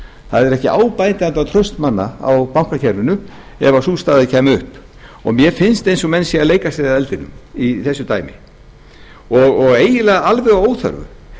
það er ekki bætandi á traust manna á bankakerfinu ef sú staða kæmi upp og mér finnst eins og menn séu að leika sé að eldinum í þessu dæmi og eiginlega alveg að óþörfu